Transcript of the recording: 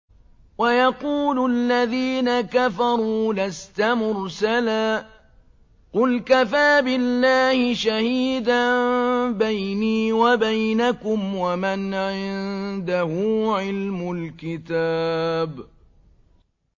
وَيَقُولُ الَّذِينَ كَفَرُوا لَسْتَ مُرْسَلًا ۚ قُلْ كَفَىٰ بِاللَّهِ شَهِيدًا بَيْنِي وَبَيْنَكُمْ وَمَنْ عِندَهُ عِلْمُ الْكِتَابِ